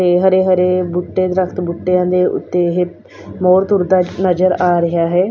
ਤੇ ਹਰੇ ਹਰੇ ਬੂਟੇ ਦਰਖਤ ਬੂਟੇ ਦੇ ਉੱਤੇ ਇਹ ਮੋਰ ਤੁਰਦਾ ਨਜ਼ਰ ਆ ਰਿਹਾ ਹੈ।